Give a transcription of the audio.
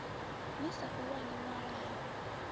ni sa u wani ṅwalani